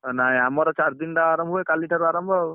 ନାଇଁ ଆମର ଚାରୀଦିନ ଆରମ୍ଭ ହୁଏ କାଲି ଠାରୁ ଆରମ୍ଭ ଆଉ।